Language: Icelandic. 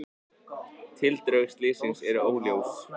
Tildrög slyssins eru óljós.